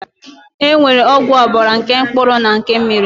E nwere ọgwụ ọbara nke mkpụrụ na nke mmiri